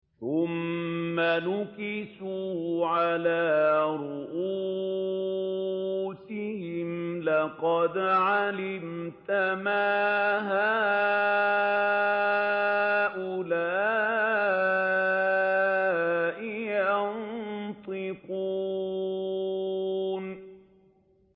ثُمَّ نُكِسُوا عَلَىٰ رُءُوسِهِمْ لَقَدْ عَلِمْتَ مَا هَٰؤُلَاءِ يَنطِقُونَ